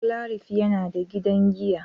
Joclarif yana da gidan giya.